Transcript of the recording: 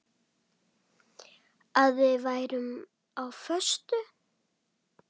Að við værum á föstu.